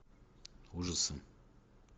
ужасы